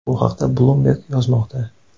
Bu haqda Bloomberg yozmoqda .